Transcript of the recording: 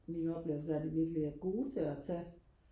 min oplevelse er at de virkelig er gode til at tage